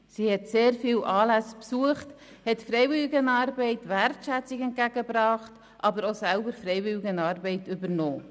Sie hat sehr viele Anlässe besucht, hat der Freiwilligenarbeit Wertschätzung entgegengebracht, aber auch selber Freiwilligenarbeit übernommen.